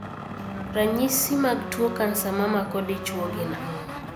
Ranyisi mag tuo kansa mamako dichuo gin ang'o?